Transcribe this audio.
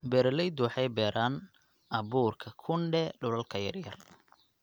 Beeraleydu waxay beeraan abuurka kunde dhulalka yaryar.